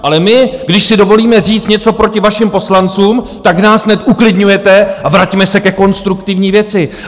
Ale my když si dovolíme říct něco proti vašim poslancům, tak nás hned uklidňujete, a vraťme se ke konstruktivní věci.